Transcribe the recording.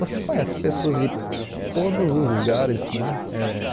Você conhece pessoas de todos os lugares, né? Eh